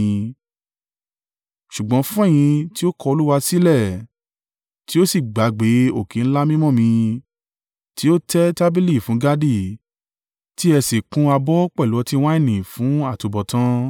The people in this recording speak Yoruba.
“Ṣùgbọ́n fún ẹ̀yin tí ó kọ Olúwa sílẹ̀ tí ó sì gbàgbé òkè ńlá mímọ́ mi, tí ó tẹ́ tábìlì fún Gadi tí ẹ sì kún abọ́ pẹ̀lú ọtí wáìnì fún àtubọ̀tán,